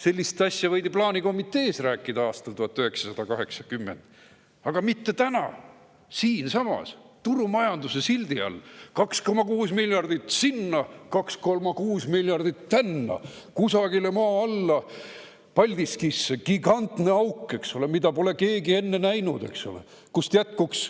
Sellist asja võidi plaanikomitees rääkida aastal 1980, aga mitte täna, siinsamas, turumajanduse sildi all: 2,6 miljardit sinna ja 2,6 miljardit tänna, kusagile maa alla, Paldiskisse gigantne auk, eks ole, mida pole keegi enne näinud, kust jätkuks